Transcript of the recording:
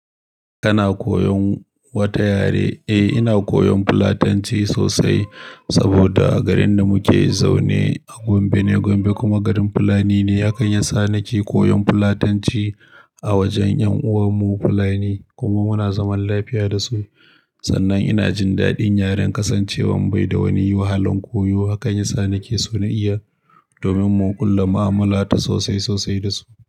Kana koyon wata yare? Eh, ina koyon Fulatanci sosai saboda garin da muke zaune a Gombe ne, Gombe kuma garin Fulani ne. Hakan yasa nake koyon Fulatanci a wajen ƴan uwanmu Fulani kuma muna zaman lafiya da su. Sannan ina jin daɗin yaren kasancewan bai da wani wahalan koyo. Hakani sa nake so na iya domin mu ƙulla mu'amala ta sosai sosai da su.